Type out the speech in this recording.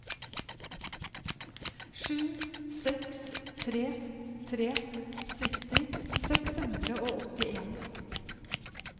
sju seks tre tre sytti seks hundre og åttien